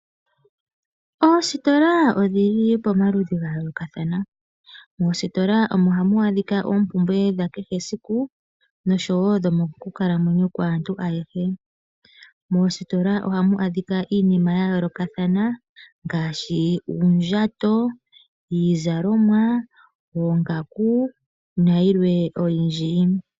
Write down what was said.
Oositola odhi li pomaludhi ga yoolokathana, moositiola omo ha mu adhika oompumbwe dha kehe esiku osho wo dhomokukalamwenyo kwaantu ayehe. Moositiola oha mu adhika iinima ya yoolokathana ngaashi; uundjato, iizalomwa, oongaku, nayilwe oyindji.